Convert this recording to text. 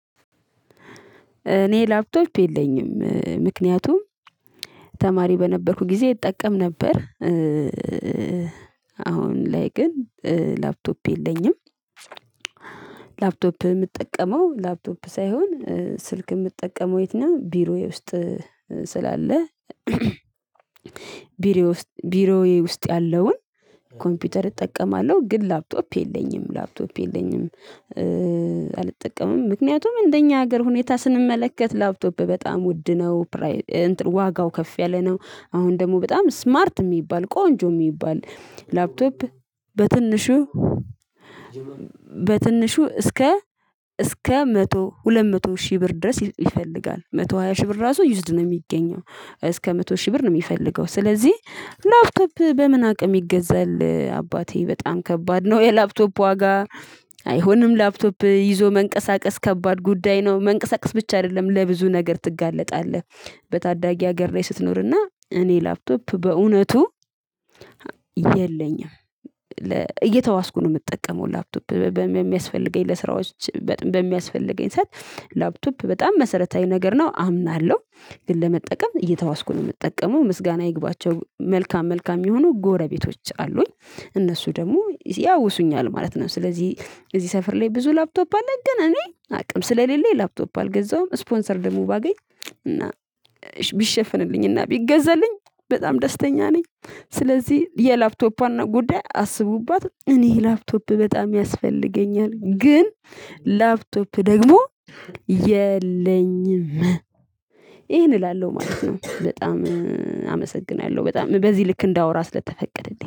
እኔ ላፕቶፕ የለኝም ምክንያቱም ተማሪ በነበርኩ ጊዜ እጠቀም ነበር። አሁን ላይ ግን ላፕቶፕ የለኝም። ላፕቶፕ ምጠቀመው ላፕቶፕ ሳይሆን ስልክ እምጠቀመው የት ነው ቢሮዬ ውስጥ ስላለ። ቢሮዬ ውስጥ ያለውን ኮምፒውተር እጠቀማለሁ ግን ላፕቶፕ የለኝም ላፕቶፕ የለኝም። አልጠቀምም ምክንያቱም እንደኛ ሀገር ሁኔታ ስንመለከት ላፕቶፕ በጣም ውድ ነው ፕራይ እንትኑ ዋጋው ከፍ ያለ ነው። አሁን ደግሞ በጣም ስማርት ሚባል ቆንጆ ሚባል ላፕቶፕ በትንሹ በትንሹ እስከ እስከ መቶ ሁለት መቶ ሺህ ብር ድረስ ይፈልጋል መቶ ሃያ ሺህ ብር ራሱ ዩዝድ ነው ሚገኘው እስከ መቶ ሺህ ብር ነው ሚፈልገው። ስለዚህ ላፕቶፕ በምን አቅም ይገዛል አባቴ በጣም ከባድ ነው። የላፕቶፕ ዋጋ አይሆንም ላፕቶፕ ይዞ መንቀሳቀስ ከባድ ጉዳይ ነው መንቀሳቀስ ብቻ አይደለም ለብዙ ነገር ትጋለጣለህ። በታዳጊ ሀገር ላይ ስትኖርና እኔ ላፕቶፕ በእውነቱ የለኝም። እየተዋስኩ ነው ምጠቀመው ላፕቶፕ በሚያስፈልገኝ ለስራዎች በሚያስፈልገኝ ሰዓት ላፕቶፕ በጣም መሰረታዊ ነገር ነው። አምናለሁ ግን ለመጠቀም እየተዋስኩ ነው ምጠቀመው ምስጋና ይግባቸው መልካም መልካም የሚሆኑ ጎረቤቶች አሉኝ እነሱ ደግሞ ያውሱኛል ማለት ነው። ስለዚህ እዚህ ሰፈር ላይ ብዙ ላፕቶፕ አለን ግን እኔ አቅም ስለሌለ ላፕቶፕ አልገዛውም። ስፖንሰር ደግሞ ባገኝ እና ቢሸፍንልኝ እና ቢገዘልኝ በጣም ደስተኛ ነኝ። ስለዚህ የላፕቶፕ እና ጉዳይ አስቡባት እኔ ላፕቶፕ በጣም ያስፈልገኛል። ግን ላፕቶፕ ደግሞ የለኝም። ይሄን እላለሁ ማለት ነው። በጣም አመሰግናለሁ በጣም በዚህ ልክ እንዳወራ ስለተፈቀደልኝ